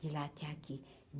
De lá até aqui.